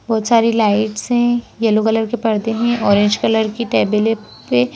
बहुत सारी लाइट्स हैं येलो कलर के पर्दे हैं ऑरेंज कलर की टेबल ए पे --